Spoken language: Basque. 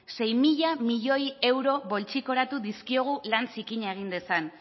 sei mila milioi euro poltsikoratu dizkiogu lan zikina egin dezan